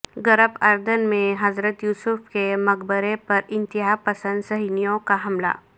غرب اردن میں حضرت یوسف کے مقبرہ پر انتہا پسند صیہونیوں کا حملہ